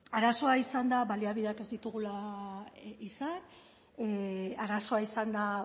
arazoa izan da baliabideak ez ditugula izan arazoa izan da